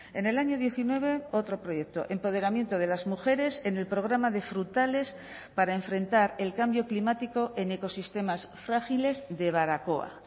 en el año diecinueve otro proyecto empoderamiento de las mujeres en el programa de frutales para enfrentar el cambio climático en ecosistemas frágiles de baracoa